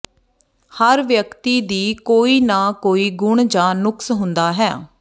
ਹਰ ਵਿਅਕਤੀ ਦੀ ਕੋਈ ਨਾ ਕੋਈ ਗੁਣ ਜਾਂ ਨੁਕਸ ਹੁੰਦਾ ਹੈ